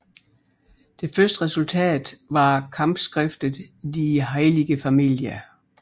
Det første resultatet var kampskriftet Die heilige Familie